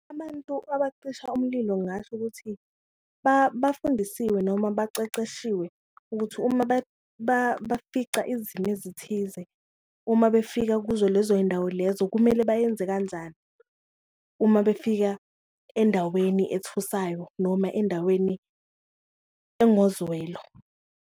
Abantu abacisha umlilo ngasho ukuthi bafundisiwe noma baceceshiwe ukuthi uma bafica izimo ezithize uma befika kuzo lezo yindawo lezo kumele bayenze kanjani, uma befika endaweni ethusayo noma endaweni engozwelo.